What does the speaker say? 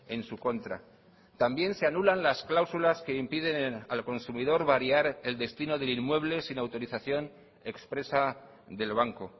en su contra también se anulan las cláusulas que impiden al consumidor variar el destino del inmueble sin autorización expresa del banco